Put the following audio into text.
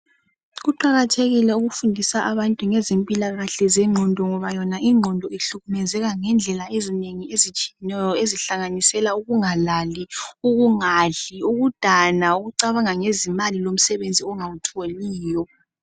Kuqakathekile ukufundisa abantu ngezempilakahle zengqondo ngoba yona ingqondo ihlukumezeka ngendlela ezinengi ezitshiyeneyo ezihlanganisa ukungalali, ukungadli, ukudana, ukucabanga ngezimali lomsebenzi ongawutholiyo.